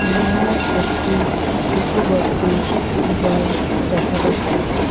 নালায় একটি ছোট বট্টি জল দেখা যাচ্ছে।